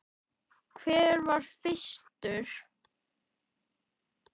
Hver var fyrstur?